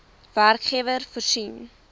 werkgewer voorsien